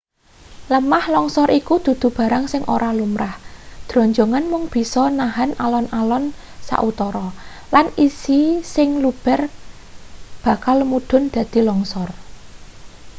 lemah longsor iku dudu barang sing ora lumrah dronjongan mung bisa nahen alon-alon sautara lan isi sing luber bakal mudhun dadi longsor